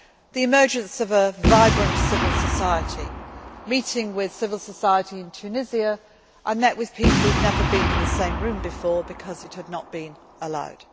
do so as well. The emergence of a vibrant civil society meeting with civil society in Tunisia, I met with people who had never been in the same room before because it had not